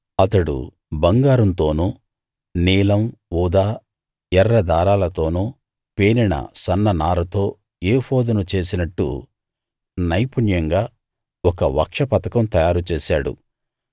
అతడు బంగారంతోనూ నీలం ఊదా ఎర్ర దారాలతోను పేనిన సన్న నారతో ఏఫోదును చేసినట్టు నైపుణ్యంగా ఒక వక్షపతకం తయారుచేశాడు